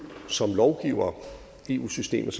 som lovgivere i eu systemet